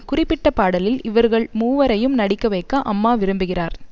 குறிப்பிட்ட பாடலில் இவர்கள் மூவரையும் நடிக்க வைக்க அம்மா விரும்புகிறார்